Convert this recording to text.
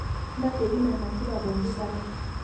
Ntasheki ina nasipa pooki kata